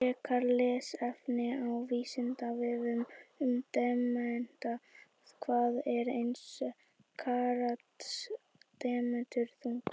Frekara lesefni á Vísindavefnum um demanta: Hvað er eins karats demantur þungur?